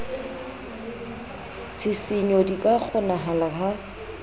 ditshisinyo di ka kgonahala ha